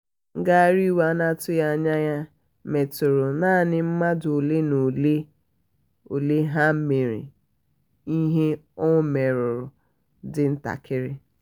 ngagharị iwe na-atughị anya ya metụrụ naanị mmadụ ole na ole ole ya mere ihe ọ merụrụ dị ntakịrị.